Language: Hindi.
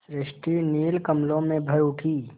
सृष्टि नील कमलों में भर उठी